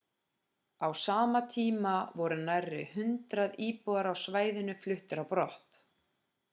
á sama tíma voru nærri 100 íbúar á svæðinu fluttir á brott